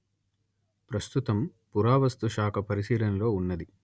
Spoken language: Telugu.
ప్రస్తుతం పురావస్థుశాఖ పరిశీలనలో ఉన్నది